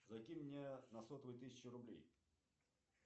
закинь мне на сотовый тысячу рублей